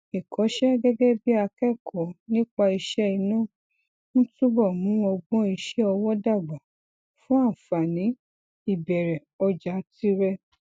ìkọṣẹ gẹgẹ bí akẹkọọ nípa iṣẹ iná ń túbọ mú ọgbọn iṣẹ ọwọ dàgbà fún àǹfààní ìbẹrẹ ọjà tirẹ